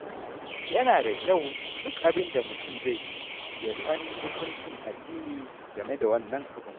Yana da kyau duk abin da mutum zai yi ya san hukuncin addini game da wannan abun.